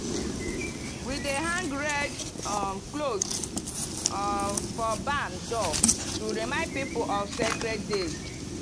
we dey hang red um cloth um for barn door to remind people of sacred days.